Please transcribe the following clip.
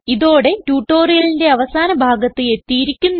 ഇതോടെ ട്യൂട്ടോറിയലിന്റെ അവസാന ഭാഗത്ത് എത്തിയിരിക്കുന്നു